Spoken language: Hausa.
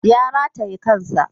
Ya rataye kan sa.